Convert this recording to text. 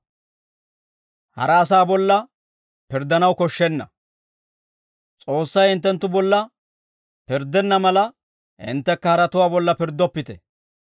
«S'oossay hinttenttu bolla pirddenna mala, hinttekka haratuwaa bolla pirddoppite.